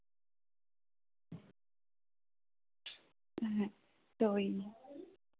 হ্যাঁ তো ওই।